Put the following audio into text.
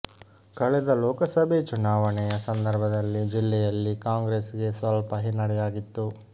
ಕಳೆದ ಲೋಕಸಭೆ ಚುನಾವಣೆಯ ಸಂದರ್ಭದಲ್ಲಿ ಜಿಲ್ಲೆಯಲ್ಲಿ ಕಾಂಗ್ರೆಸ್ ಗೆ ಸ್ವಲ್ಪ ಹಿನ್ನಡೆಯಾಗಿತ್ತು